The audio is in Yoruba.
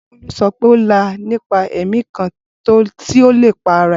Bolu sọ pe o la nipa ẹmi kan ti o lepa rẹ